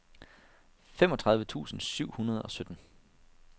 femogtredive tusind syv hundrede og sytten